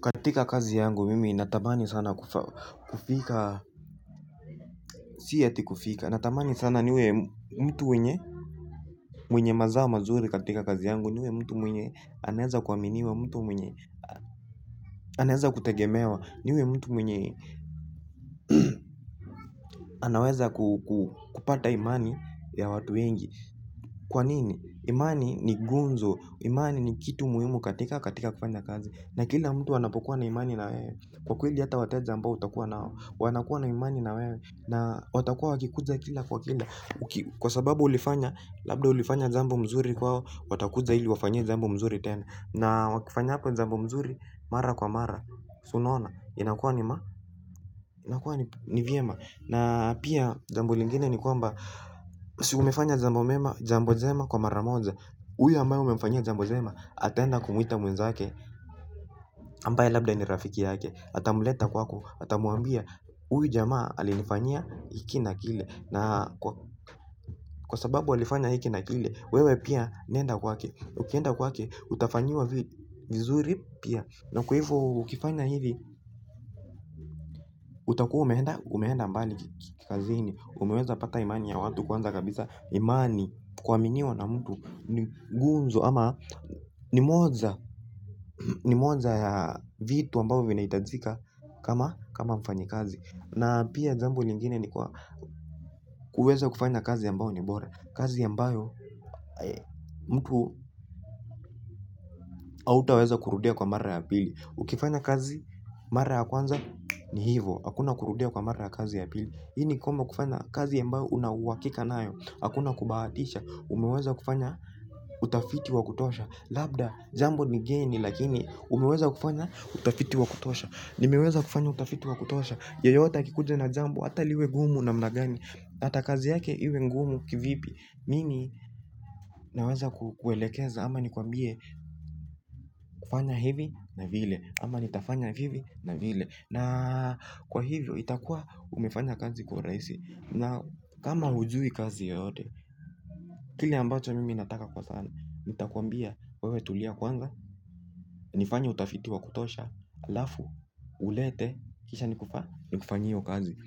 Katika kazi yangu mimi natamani sana kufika, si eti kufika, natamani sana niwe mtu mwenye mazao mazuri katika kazi yangu, niwe mtu mwenye anaweza kuaminiwa, mtu mwenye anaweza kutegemewa, niwe mtu mwenye anaweza kupata imani ya watu wengi. Kwa nini? Imani ni gunzo, imani ni kitu muhimu katika kufanya kazi. Na kila mtu anapokua na imani na wewe kwa kweli hata wateja ambao utakua nao wanakua na imani na wewe na watakua wakikuja kila kwa kila kwa sababu ulifanya, labda ulifanya jambo mzuri kwao, watakuja ili uwafanyie jambo mzuri tena na ufanyapo jambo mzuri mara kwa mara, si unaona inakua ni vyema na pia jambo lingine ni kwamba si umefanya jambo njema kwa mara moja huyo ambaye umemfanyia jambo njema ataenda kumwita mwenzake ambaye labda ni rafiki yake atamleta kwako, atamwambia huyu jamaa alinifanyia hiki na kile na kwa sababu alifanya hiki na kile wewe pia nenda kwake, ukienda kwake utafanyiwa vizuri pia, na kwa hivo ukifanya hivi. Utakua umeenda mbali kikazini, umeweza pata imani ya watu kwanza kabisa imani, kuaminiwa na mtu ni gunzo ama ni moja ya vitu ambavyo vinahitajika kama mfanyi kazi na pia jambo lingine ni kwa kuweza kufanya kazi ambayo ni bora, kazi ambayo mtu hautaweza kurudia kwa mara ya pili. Ukifanya kazi mara ya kwanza ni hivo, hakuna kurudia kwa mara ya kazi ya pili. Hii ni kwamba kufanya kazi ambayo una uhakika nayo hakuna kubahatisha, umeweza kufanya utafiti wa kutosha labda jambo ni geni lakini umeweza kufanya utafiti wakutosha. Nimeweza kufanya utafiti wa kutosha, yeyote akikuja na jambo hata liwe gumu namna gani. Hata kazi yake iwe ngumu kivipi mimi naweza kukuelekeza ama nikwambie fanya hivi na vile ama nitafanya hivi na vile na kwa hivyo itakua umefanya kazi kwa urahisi na kama hujui kazi yoyote kile ambacho mimi nataka kwa sana nitakwambia, wewe tulia kwanza nifanye utafiti wa kutosha halafu ulete, kisha nikufanyie hiyo kazi